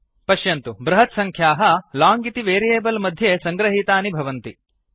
पश्यन्तु बृहत्सङ्ख्याः लोंग इति वेरियेबल् मध्ये सङ्गृहीतानि भवन्ति